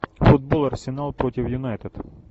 футбол арсенал против юнайтед